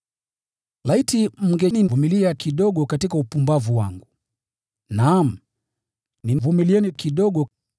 Laiti mngenivumilia kidogo katika upumbavu wangu! Naam, nivumilieni kidogo.